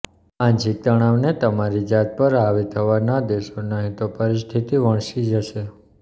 માનસિક તણાવને તમારી જાત પર હાવી થવા ન દેશો નહિં તો પરિસ્થિતિ વણસી જશે